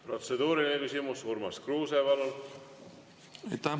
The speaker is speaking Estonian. Protseduuriline küsimus, Urmas Kruuse, palun!